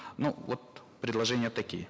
ну вот предложения такие